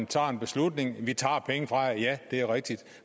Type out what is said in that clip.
tager en beslutning vi tager penge fra jer ja det er rigtigt